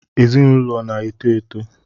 Ezinụlọ na-eto eto